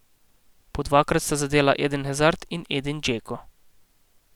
Po dvakrat sta zadela Eden Hazard in Edin Džeko.